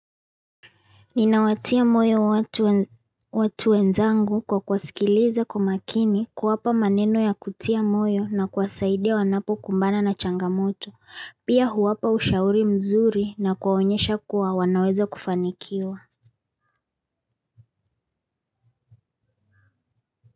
Ninawatia moyo watu wenzangu kwa kuwasikiliza kwa makini kuwapa maneno ya kutia moyo na kuwasaidia wanapokumbana na changamoto. Pia huwapa ushauri mzuri na kuwaonyesha kuwa wanawezakufanikiwa.